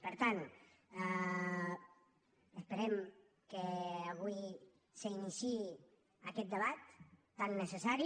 per tant esperem que avui s’iniciï aquest debat tan necessari